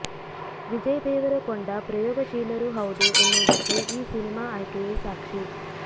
ವಿಜಯ್ ದೇವರಕೊಂಡ ಪ್ರಯೋಗಶೀಲರೂ ಹೌದು ಎನ್ನುವುದಕ್ಕೆ ಈ ಸಿನಿಮಾ ಆಯ್ಕೆಯೇ ಸಾಕ್ಷಿ